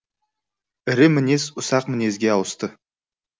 ірі мінез ұсақ мінезге ауысты